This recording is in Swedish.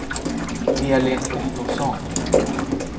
Elin Ottosson